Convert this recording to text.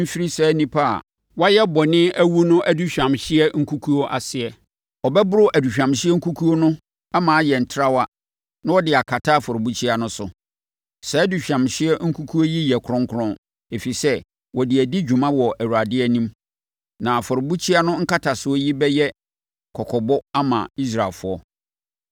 mfiri saa nnipa a wɔayɛ bɔne awu no aduhwamhyeɛ nkukuo no aseɛ. Ɔbɛboro aduhwamhyeɛ nkukuo no ama ayɛ trawa na ɔde akata afɔrebukyia no so. Saa aduhwamhyeɛ nkukuo yi yɛ kronkron, ɛfiri sɛ, wɔde adi dwuma wɔ Awurade anim. Na afɔrebukyia no nkatasoɔ yi bɛyɛ kɔkɔbɔ ama Israelfoɔ.”